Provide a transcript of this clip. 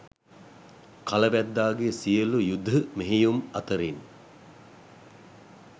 කල වැද්දාගේ සියලු යුධ මෙහෙයුම් අතරින්